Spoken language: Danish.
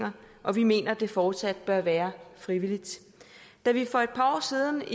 og vi mener det fortsat bør være frivilligt da vi for et par år siden